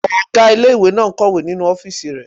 Ọgá ilé-ìwé náà n kọ̀wé nínu ọ́fìsì rẹ̀